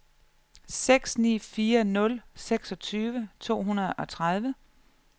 seks ni fire nul seksogtyve to hundrede og tredive